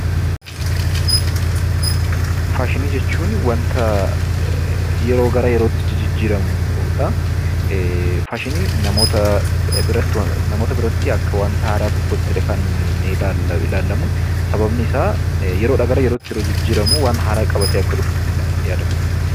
Faashinii jechuun wanta yeroo gara yerootti jijjiirramudha. Faashiniin namoota biratti akka wanta haaraa tokkottidha kan ilaallamuu sababnisaa yeroodha gara yerootti kan jijjiirramu waan haaraa qabatee akka dhufutti kan yaadamu.